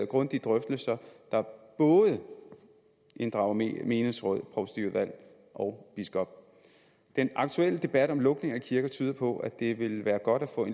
grundige drøftelser der både inddrager menighedsråd provstiudvalg og biskop den aktuelle debat om lukning af kirker tyder på at det vil være godt at få